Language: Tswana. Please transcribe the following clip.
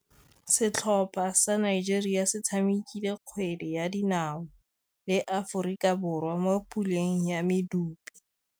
Setlhopha sa Nigeria se tshamekile kgwele ya dinaô le Aforika Borwa mo puleng ya medupe.